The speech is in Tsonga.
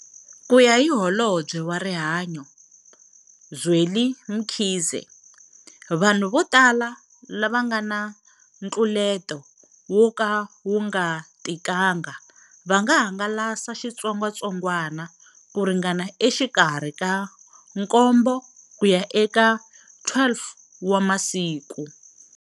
Kuya hi Holobye wa Rihanyo Zweli Mkhize, vanhu votala lava nga na ntluleto wo ka wu nga tikanga va nga hangalasa xitsongwatsongwana ku ringana exikarhi ka nkombo ku ya eka 12 wa masiku.